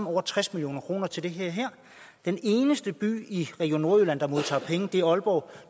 over tres million kroner til det her den eneste by i region nordjylland der modtager penge er aalborg